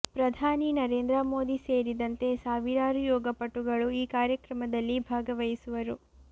ಪ್ರಧಾನಿ ನರೇಂದ್ರ ಮೋದಿ ಸೇರಿದಂತೆ ಸಾವಿರಾರು ಯೋಗಪಟುಗಳು ಈ ಕಾರ್ಯಕ್ರಮದಲ್ಲಿ ಭಾಗವಹಿಸುವರು